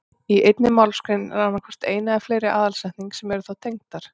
Í einni málsgrein er annað hvort ein eða fleiri aðalsetning sem eru þá tengdar.